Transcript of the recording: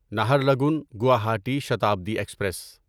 Naharlagun Guwahati Shatabdi express